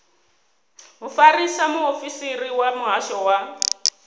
mufarisa muofisiri wa muhasho wa